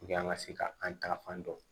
an ka se ka an ta fan dɔn